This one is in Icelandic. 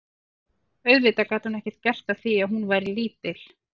Auðvitað gat hún ekkert gert að því að hún væri lítil.